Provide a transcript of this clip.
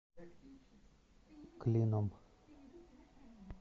клином